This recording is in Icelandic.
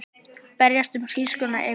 Berjast um hrísgrjónaekru